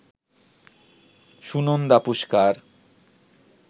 Sunanda Pushkar